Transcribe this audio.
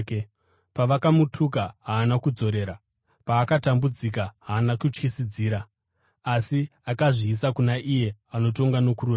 Pavakamutuka, haana kudzorera; paakatambudzika, haana kutyisidzira. Asi, akazviisa kuna iye anotonga nokururama.